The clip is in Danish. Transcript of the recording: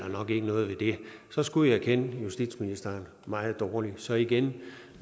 noget ved det så skulle jeg kende justitsministeren meget dårligt så igen